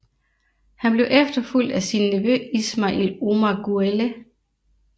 Han blev efterfulgt af sin nevø Ismail Omar Guelleh